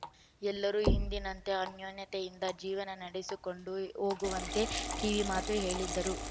ಎಲ್ಲರೂ ಇಂದಿನಂತೆ ಅನ್ಯೋನ್ಯತೆಯಿಂದ ಜೀವನ ನಡೆಸಿಕೊಂಡು ಹೋಗುವಂತೆ ಕಿವಿಮಾತು ಹೇಳಿದರು